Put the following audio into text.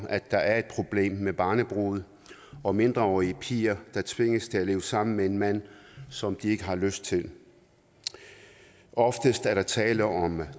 at der er et problem med barnebrude og mindreårige piger der tvinges til at leve sammen med en mand som de ikke har lyst til oftest er der tale om